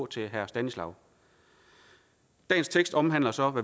til herre stanislaw dagens tekst omhandler så